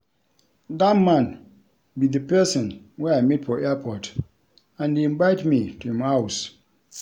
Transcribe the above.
Dat man be the person wey I meet for airport and he invite me to im house